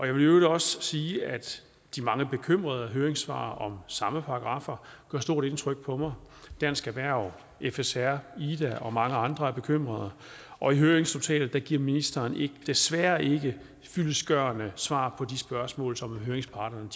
i øvrigt også sige at de mange bekymrede høringssvar om samme paragraffer gør stort indtryk på mig dansk erhverv fsr ida og mange andre er bekymrede og i høringsnotatet giver ministeren desværre ikke fyldestgørende svar på de spørgsmål som høringsparterne